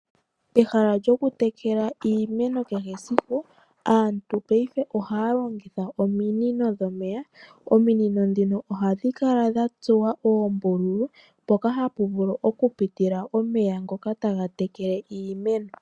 Pehala lyokutekela iimeno kehe esiku, aantu peife ohaalongitha ominino dhomeya ,ominino dhino ohadhikala dhatsuwa oombululu mpoka hapuvulu okupitila omeya ngoka tagatekele iimeno.